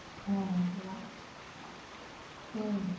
অহ সেইয়াই